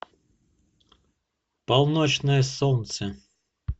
полночное солнце